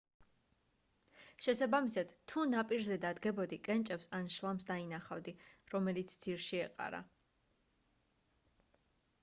შესაბამისად თუ ნაპირზე დადგებოდი კენჭებს ან შლამს დანახავდი რომელიც ძირში ეყარა